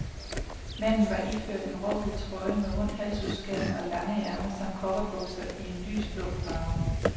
Manden var iført en råhvid trøje med rund halsudskæring og lange ærmer samt cowboybukser i en lys, blå farve.